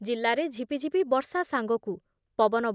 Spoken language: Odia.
ଜିଲ୍ଲାରେ ଝିପିଝିପି ବର୍ଷା ସାଙ୍ଗକୁ ପବନ